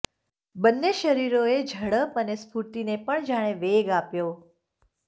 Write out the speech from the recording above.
બન્ને શરીરો એ ઝડપ અને સ્ફૂર્તિ ને પણ જાણે વેગ આપ્યો